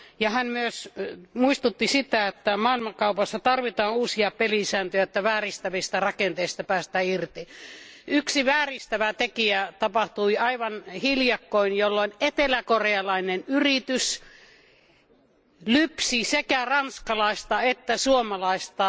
Hän myös muistutti siitä, että maailmankaupassa tarvitaan uusia pelisääntöjä, että vääristävistä rakenteista päästään irti. Yksi vääristävä tekijä tapahtui aivan hiljakkoin, jolloin eteläkorealainen yritys lypsi sekä ranskalaista että suomalaista